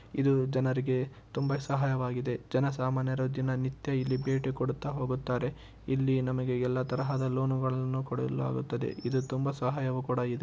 ಇದು ಜನರಿಗೆ ತುಂಬ ಸಹಾಯವಾಗಿದೆ ಜನಸಾಮಾನ್ಯರು ದಿನನಿತ್ಯ ಇಲ್ಲಿ ಭೇಟಿಕೊಡುತ್ತಾ ಹೋಗುತ್ತಾರೆ. ಇಲ್ಲಿ ನಮಗೆ ಎಲ್ಲ ತರಹದ ಲೋನುಗಳನ್ನು ಕೊಡಲಾಗುತ್ತದೆ ಇದು ತುಂಬ ಸಹಾಯವು ಕೂಡ ಇದೆ.